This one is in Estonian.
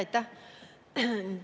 Aitäh!